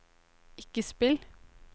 ikke spill